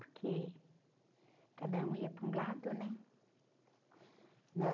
Porque cada um ia para um lado, né?